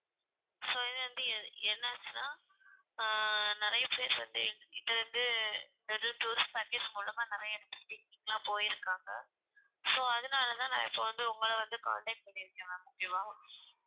so இது வந்து எ~ என்ன ஆச்சுன்னா ஆஹ் நிறைய பேர் வந்து எங்க கிட்ட வந்து tourist package மூலமா நிறைய இடத்துக்கு picnic லாம் போயிருக்காங்க. so அதனால தான் நான் இப்ப வந்து உங்கள வந்து contact பண்ணியிருக்கேன் ma'am